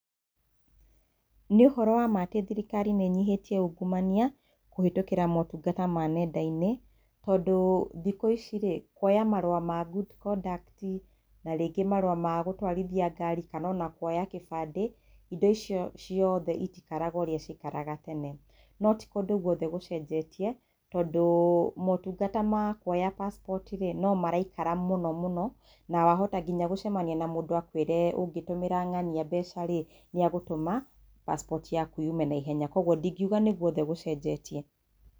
Nĩ ũhoro wa ma atĩ thirikari nĩ nyihĩtie ungumania kũhetũkĩra motungata ma nenda-inĩ tondũ thikũ ici rĩ, kwoya marũa ma good conduct na rĩngĩ marũa ma gũtwarithia ngari kana ona kwoya kĩbandĩ, indo icio ciothe itikaraga ũrĩa ciaikaraga tene no ti kũndũ gwothe gũcenjetie tondũ motungata ma kwoya passport rĩ no maraikara mũno mũno na wahota nginya gũcemania na mũndũ akwĩre ũngĩtũmĩra ng'ania mbeca rĩ nĩ agũtuma passport yaku yume na ihenya kwoguo ndingiuga nĩ gwothe gũcenjetie